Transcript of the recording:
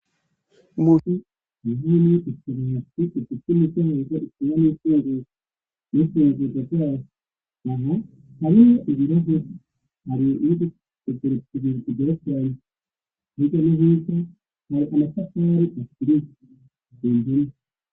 Umuziyihiri yo gusumyasiziz zimigenoza ikiban''zogu n'isuzozazazana haneho ibirahe hario ubiguozerekizira gigarazari ntiga nihiza nharkana sa kari ukirizi zengeme.